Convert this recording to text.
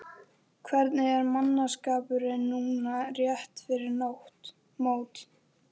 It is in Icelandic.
Hvernig er mannskapurinn núna rétt fyrir mót?